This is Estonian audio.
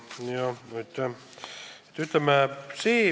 Jah, aitäh!